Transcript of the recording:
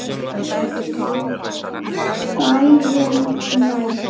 Kvæðin næst?